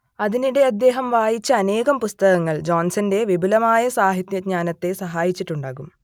അതിനിടെ അദ്ദേഹം വായിച്ച അനേകം പുസ്തകങ്ങൾ ജോൺസന്റെ വിപുലമായ സാഹിത്യജ്ഞാനത്തെ സഹായിച്ചിട്ടുണ്ടാകും